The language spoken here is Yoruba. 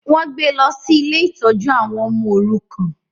Wọ́n gbé lọ sí ilé ìtọ́jú àwọn ọmọ òrukàn